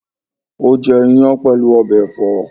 O jẹ iyán pẹlu ọbẹ ẹfọ.